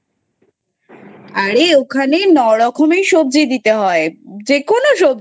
আরে ওখানে নয় রকমের সবজি দিতে হয় যে কোনো সবজি মানে